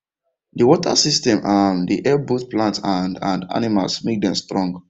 the water system um dey help both plants and and animals make dem strong